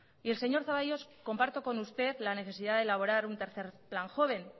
y el señor zaballos comparto con usted la necesidad de elaborar un tercer plan joven